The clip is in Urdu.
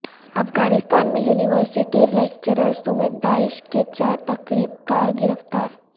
افغانستان میں یونیورسٹی لیکچرر سمیت داعش کے چار تخریب کار گرفتار